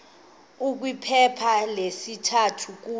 kwiphepha lesithathu kule